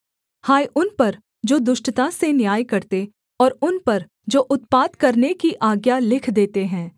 हाय उन पर जो दुष्टता से न्याय करते और उन पर जो उत्पात करने की आज्ञा लिख देते हैं